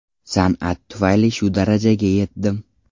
San’at tufayli shu darajaga yetdim.